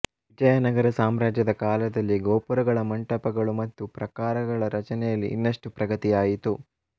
ವಿಜಯನಗರ ಸಾಮ್ರಾಜ್ಯದ ಕಾಲದಲ್ಲಿ ಗೋಪುರಗಳ ಮಂಟಪಗಳು ಮತ್ತು ಪ್ರಾಕಾರಗಳ ರಚನೆಯಲ್ಲಿ ಇನ್ನಷ್ಟು ಪ್ರಗತಿಯಾಯಿತು